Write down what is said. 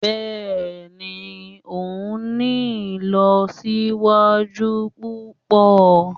Bẹ́ẹ̀ni, o ń ni ilọsiwaju pupọ.